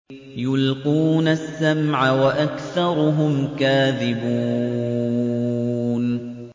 يُلْقُونَ السَّمْعَ وَأَكْثَرُهُمْ كَاذِبُونَ